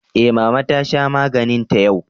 Eh mama ta sha maganinta yau.